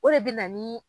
O de bɛ na ni